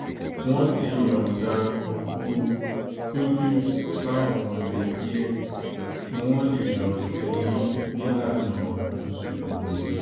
wọ́n ti yọ̀ǹda òkú qudus fáwọn mọ̀lẹ́bí ẹ̀ kí wọ́n lè lọ́ọ́ sìn-ín nílànà mùsùlùmí